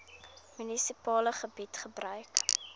munisipale gebied gebruik